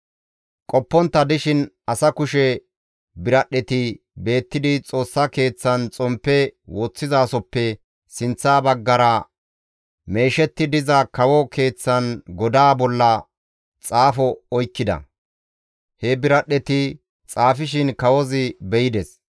Qoppontta dishin asa kushe biradhdheti beettidi Xoossa Keeththan xomppe woththizasoppe sinththa baggara meeshetti diza kawo keeththan godaa bolla xaafo oykkida; he biradhdheti xaafishin kawozi be7ides.